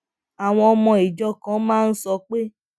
àwọn ọmọ ìjọ kan máa ń sọ pé